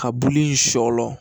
Ka bulu in sɔlɔ